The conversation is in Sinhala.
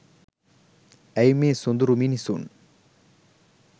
ඇයි මේ සොඳුරු මිනිසුන්